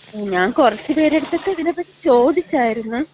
ഞാൻ കുറച്ച് പേരടുത്തക്ക ഇതിനെപ്പറ്റി ചോദിച്ചാര്ന്ന്.